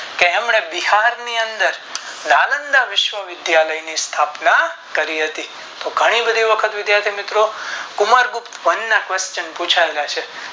તેમને બિહાર ની અંદર નાલંદા વિશ્વ વિધાલય ની સ્થાપના કરી હતી તો ઘણી બધી વખત કુમાર ગુપ્ત વેન ના question પુછાયેલા છે